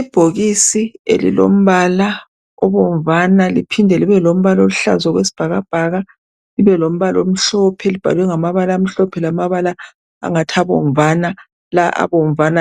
Ibhokisi elombala obomvana. Liphinde libe libe lombala oluhlaza, okwesibhakabhaka. Libe lombala omhlope. Libhalwe ngamabala amhlophe, lamabala angathi abomvana. La abomvana